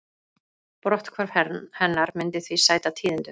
Brotthvarf hennar myndi því sæta tíðindum